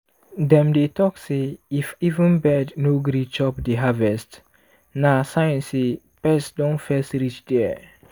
dem dey talk say if even bird no gree chop the harvest na sign say pest don first reach there.